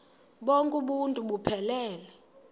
bonk uuntu buphelele